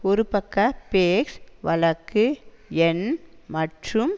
ஒரு பக்க பேஸ் வழக்கு எண் மற்றும்